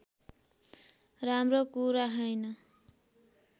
राम्रो कुरा हैन